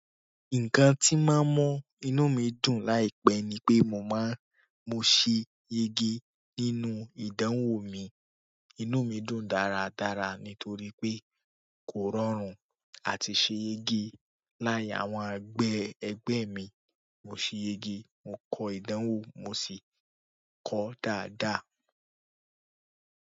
Nǹkan tí máa ń mọ́ inú mi dùn láìpẹ́ ni pé mo máa n, mo ṣe yege nínú ìdánwò mi. Inú mi dùn dáradára nítorí pé kò rọrùn àti ṣe yege láàrín àwọn ẹgbẹ́ ẹgbẹ́ mi, mo ṣe yege, mo kọ ìdánwò mo sì kọ ó dáadáa.